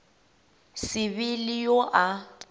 se be le yo a